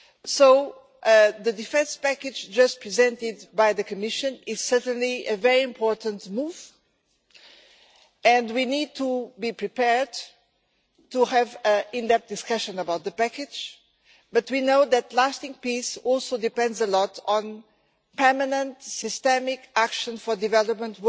So the defence package just presented by the Commission is certainly a very important move, and we need to be prepared to have that discussion about the package, but we know that lasting peace also depends a lot on permanent systemic action for development